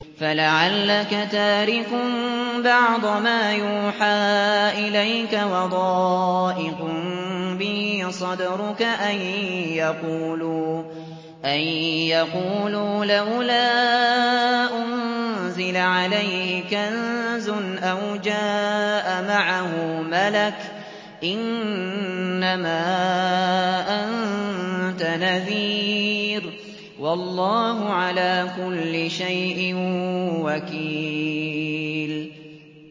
فَلَعَلَّكَ تَارِكٌ بَعْضَ مَا يُوحَىٰ إِلَيْكَ وَضَائِقٌ بِهِ صَدْرُكَ أَن يَقُولُوا لَوْلَا أُنزِلَ عَلَيْهِ كَنزٌ أَوْ جَاءَ مَعَهُ مَلَكٌ ۚ إِنَّمَا أَنتَ نَذِيرٌ ۚ وَاللَّهُ عَلَىٰ كُلِّ شَيْءٍ وَكِيلٌ